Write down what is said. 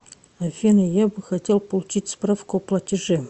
афина я бы хотел получить справку о платеже